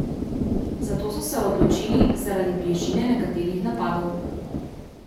Za to so se odločili zaradi bližine nekaterih napadov.